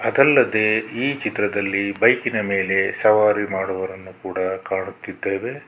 ಅದಲ್ಲದೆ ಈ ಚಿತ್ರದಲ್ಲಿ ಬೈಕ್ ಇನ ಮೇಲೆ ಸವಾರಿ ಮಾಡುವವರನ್ನು ಕಾಣುತ್ತಿದ್ದೇವೆ.